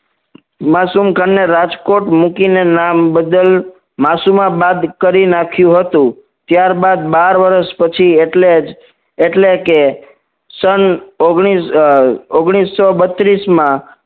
માસુમખાને રાજકોટ મૂકીને નામ બદલ માસુમાબાદ કરી નાખ્યું હતું ત્યારબાદ બાર વર્ષ પછી એટલે જ એટલે કે સન ઓગનીશ અ ઓગનીશો બત્રીસ માં